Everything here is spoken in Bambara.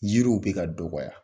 Yiriw bɛ ka dɔgɔkɔya.